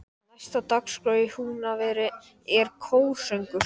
Næst á dagskrá í Húnaveri er kórsöngur.